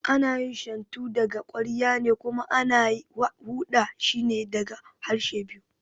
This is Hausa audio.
Ana yin Shantu daga ƙwarya ne kuma ana huda shine daga ƙarshe biyu